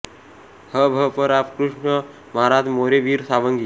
ह भ प रामकृष्ण महाराज मोरे वीर सावंगी